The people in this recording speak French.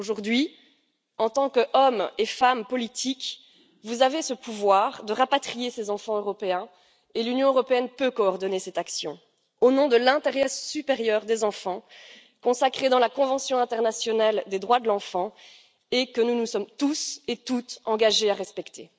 Aujourd'hui, en tant qu'hommes et femmes politiques, vous avez ce pouvoir de rapatrier ces enfants européens, et l'Union européenne peut coordonner cette action, au nom de l'intérêt supérieur des enfants consacré dans la Convention internationale des droits de l'enfant, que nous nous sommes tous et toutes engagés à respecter.